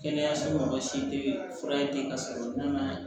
Kɛnɛyaso tɛ fura ye den ka sɔrɔ o don na